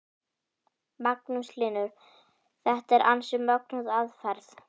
Magnús Hlynur: Þetta er ansi mögnuð aðferð?